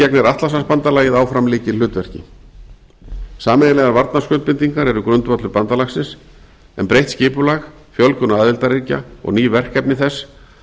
gegnir atlantshafsbandalagið áfram lykilhlutverki sameiginlegar varnarskuldbindingar eru grundvöllur bandalagsins en breytt skipulag fjölgun aðildarríkja og ný verkefni þess